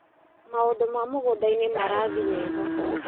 Maũndĩ ma mũgũndainĩ marathi wega.